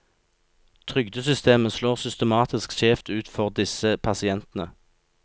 Trygdesystemet slår systematisk skjevt ut for disse pasientene.